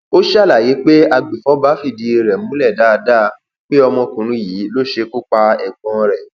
ó ṣàlàyé pé agbèfọba fìdí rẹ múlẹ dáadáa pé ọmọkùnrin yìí ló ṣekú pa ẹgbọn rẹ